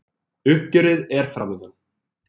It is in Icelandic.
Uppgjörið er framundan